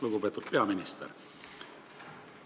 Lugupeetud peaminister!